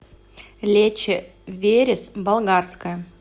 лечо верес болгарское